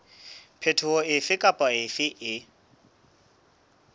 phetoho efe kapa efe e